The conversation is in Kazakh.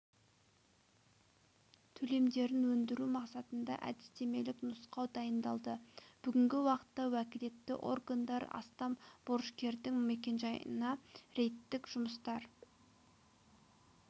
төлемдерін өндіру мақсатында әдістемелік нұсқау дайындалды бүгінгі уақытта уәкілетті органдар астам борышкердің мекенжайына рейдтік жұмыстар